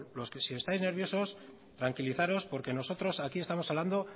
si estáis nerviosos tranquilizaros porque nosotros aquí estamos hablando